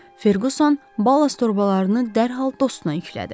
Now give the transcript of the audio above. Ferquson ballast torbalarını dərhal dostuna yüklədi.